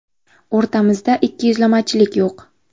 O‘rtamizda ikkiyuzlamachilik yo‘q.